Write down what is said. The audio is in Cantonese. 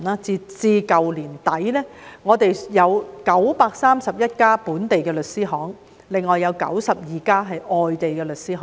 截至去年年底，我們有931間本地律師行，另有92間外地律師行。